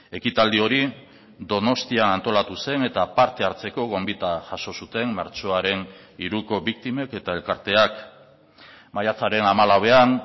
ekitaldi hori donostian antolatu zen eta parte hartzeko gonbita jaso zuten martxoaren hiruko biktimek eta elkarteak maiatzaren hamalauean